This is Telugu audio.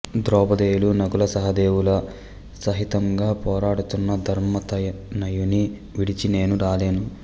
ద్రౌపదేయులు నకుల సహదేవుల సహితంగా పోరాడుతున్న ధర్మతనయుని విడిచి నేను రాలేను